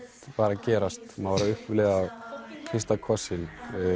var að gerast maður var að upplifa fyrsta kossinn